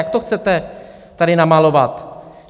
Jak to chcete tady namalovat?